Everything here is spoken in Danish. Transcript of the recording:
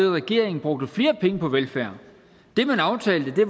regering brugte flere penge på velfærd det man aftalte var